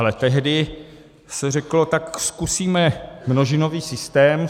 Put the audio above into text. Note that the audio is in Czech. Ale tehdy se řeklo, tak zkusíme množinový systém.